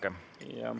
Palun, jätkake.